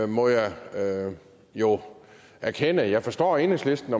må jeg jo erkende at jeg godt forstår at enhedslisten